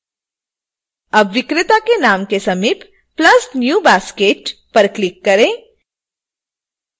अब विक्रेता के नाम के समीप plus new basket पर क्लिक करें